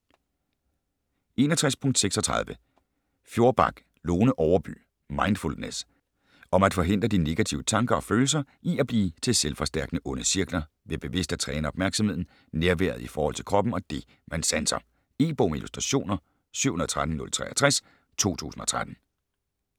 61.36 Fjorback, Lone Overby: Mindfulness Om at forhindre de negative tanker og følelser i at blive til selvforstærkende onde cirkler, ved bevidst at træne opmærksomheden, nærværet i forhold til kroppen og det, man sanser. E-bog med illustrationer 713063 2013.